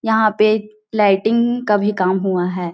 यहाँ पे लाइटिंग का भी काम हुआ है।